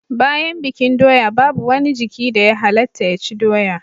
Bayan bikin doya babu wani jiki da ya halatta ya ci doya